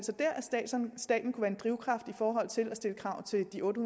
staten kunne være en drivkraft i forhold til at stille krav til de otte